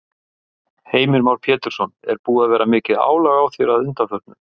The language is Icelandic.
Heimir Már Pétursson: Er búið að vera mikið álag á þér að undanförnu?